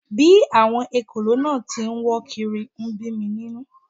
Bí àwọn ekòló náà tí ń wọ́ kiri ń bí mi nínú